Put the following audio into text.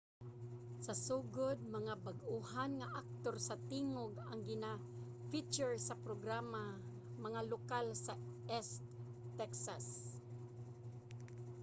sa sugod mga bag-ohan nga aktor sa tingog ang gina-feature sa programa mga lokal sa east texas